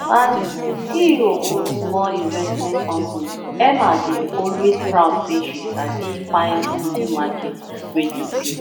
as ceo for small investment company emma dey always proud say she sabi find hidden market wey dey pay